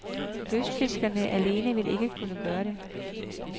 Lystfiskerne alene vil ikke kunne gøre det.